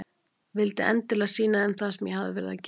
Vildi endilega sýna þeim það sem ég hafði verið að gera.